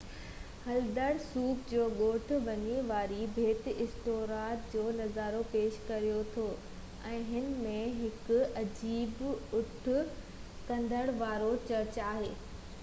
هلدرسوڪ جو ڳوٺ ويهي واري ٻيٽ ايسٽورائي جو نظارو پيش ڪريو ٿو ۽ هن ۾ هڪ عجيب اٺ ڪنڊن وارو چرچ آهي